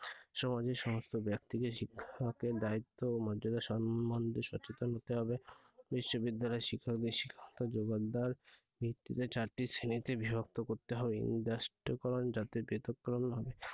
সমাজের সমস্ত ব্যক্তি কে শিক্ষকের দায়িত্ব ও মর্যাদা সম্বন্ধে সচেতন হতে হবে বিশ্ববিদ্যালয়ের শিক্ষকদের শিক্ষাগত যোগ্যতার ভিত্তিতে চারটি শ্রেণীতে বিভক্ত করতে হবে করণ, জাতীয় পৃথক করণ হবে।